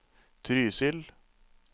Trysil